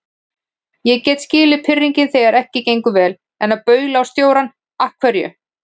Ég get skilið pirringinn þegar ekki gengur vel, en að baula á stjórann. af hverju?